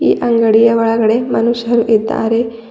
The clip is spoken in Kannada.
ಈ ಅಂಗಡಿಯ ಒಳಗಡೆ ಮನುಷ್ಯರು ಇದ್ದಾರೆ.